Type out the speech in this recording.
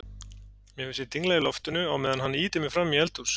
Mér finnst ég dingla í loftinu á meðan hann ýtir mér frammí eldhús.